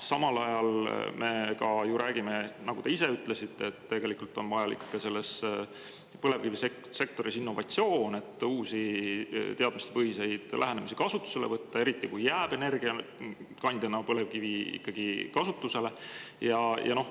Samal ajal me ju räägime, nagu te ka ise ütlesite, et ka põlevkivisektoris on vaja innovatsiooni, et uusi, teadmistepõhiseid lähenemisi kasutusele võtta, eriti kui põlevkivi jääb energiakandjana kasutusele.